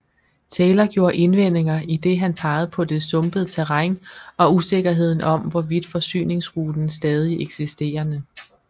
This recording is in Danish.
Taylor gjorde indvendinger idet han pegede på det sumpede terræn og usikkerheden om hvorvidt forsyningsruten stadig eksisterende